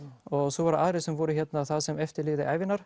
svo voru aðrir sem voru hérna það sem eftir lifði ævinnar